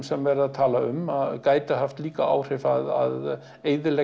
verið að tala um gæti haft líka áhrif að eyðileggja